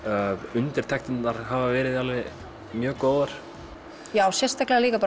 undirtektirnar hafa verið mjög góðar sérstaklega líka